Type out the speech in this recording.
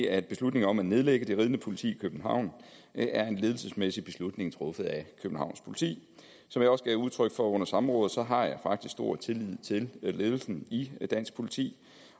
at beslutningen om at nedlægge det ridende politi i københavn er en ledelsesmæssig beslutning truffet af københavns politi som jeg også gav udtryk for under samrådet har jeg faktisk stor tillid til ledelsen i dansk politi